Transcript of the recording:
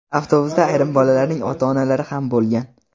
Avtobusda ayrim bolalarning ota-onalari ham bo‘lgan.